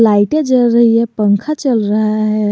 लाइटें जल रही है पंखा चल रहा है।